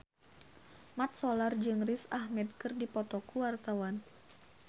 Mat Solar jeung Riz Ahmed keur dipoto ku wartawan